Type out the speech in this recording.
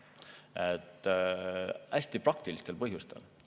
Seda hästi praktilistel põhjustel.